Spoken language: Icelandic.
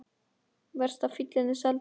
Verst að fíllinn er seldur.